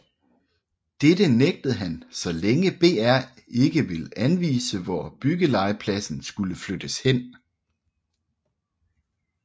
Dette nægtede han så længe BR ikke ville anvise hvor byggelegepladsen skulle flyttes hen